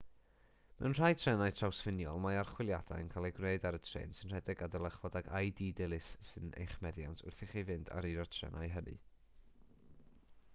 mewn rhai trenau trawsffiniol mae archwiliadau yn cael eu gwneud ar y trên sy'n rhedeg a dylech fod ag id dilys yn eich meddiant wrth i chi fynd ar un o'r trenau hynny